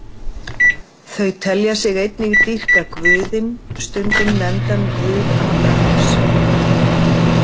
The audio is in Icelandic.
Þau telja sig einnig dýrka guðinn stundum nefndan Guð Abrahams.